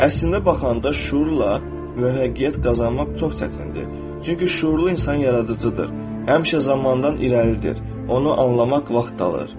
Əslində baxanda şüurla müvəffəqiyyət qazanmaq çox çətindir, çünki şüurlu insan yaradıcıdır, həmşə zamandan irəlidir, onu anlamaq vaxt alır.